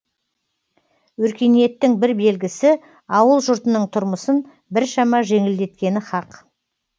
өркениеттің бір белгісі ауыл жұртының тұрмысын біршама жеңілдеткені хақ